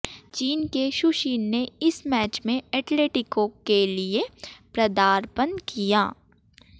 चीन के Xu Xin ने इस मैच से एटलेटिको के लिए पदार्पण किया